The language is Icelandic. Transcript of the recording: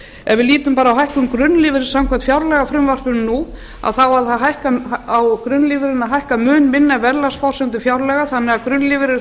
við lítum bara á hækkun grunnlífeyris samkvæmt fjárlagafrumvarpinu nú á grunnlífeyririnn að hækka mun minna en verðlagsforsendur fjárlaga þannig að grunnlífeyrir